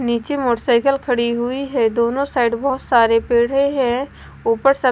नीचे मोटरसाइकिल खड़ी हुई है दोनों साइड बहोत सारे पेढ़े है ऊपर स--